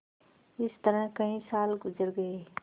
इस तरह कई साल गुजर गये